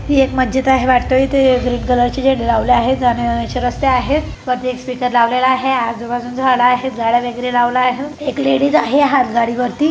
एक मस्जिद आहे वाटत इथे ग्रीन कलर जी लवलेली आहे जाण्या येण्या ची रास्ता आहे वरती एक स्पीकर लावलेल आहे आजू-बाजू झाड आहे झाड वगैरे लावलेल आहे एक लेडीज आहे हातगाडी वरती.